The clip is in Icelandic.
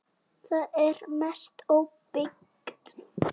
Það er að mestu óbyggt.